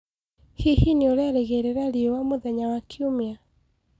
hĩhĩ nĩũraerĩgĩrĩra rĩũa mũthenya wa kĩumĩa